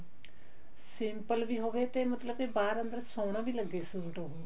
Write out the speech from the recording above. simple ਵੀ ਹੋਵੇ ਤੇ ਮਤਲਬ ਕੇ ਬਾਹਰ ਅੰਦਰ ਸੋਹਣਾ ਵੀ ਲੱਗੇ ਸੂਟ ਉਹ